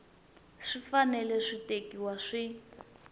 swi fanele swi tekiwa swi